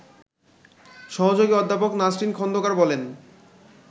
সহযোগী অধ্যাপক নাসরিন খন্দকার বলেন